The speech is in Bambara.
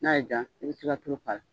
N'a ye diya i bɛ se ka tulu